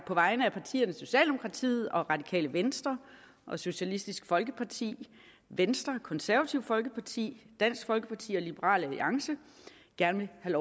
på vegne af partierne socialdemokratiet radikale venstre socialistisk folkeparti venstre det konservative folkeparti dansk folkeparti og liberal alliance gerne vil